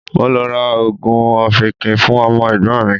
Mo lọ ra oògùn ọ̀fìnkìn fún ọmọ Ẹ̀gbọ́n mi.